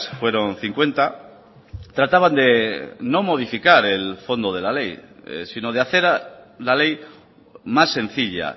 fueron cincuenta trataban de no modificar el fondo de la ley sino de hacer la ley más sencilla